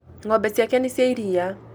Ng'ombe ciake nĩ cia iria